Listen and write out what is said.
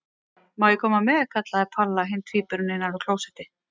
Má ég koma með? kallaði Palla hinn tvíburinn innan af klósetti.